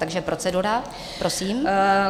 Takže procedura, prosím.